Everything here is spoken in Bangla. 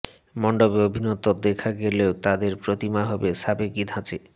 মণ্ডপে অভিনবত্ব দেখা গেলেও তাদের প্রতিমা হবে সাবেকি ধাঁচে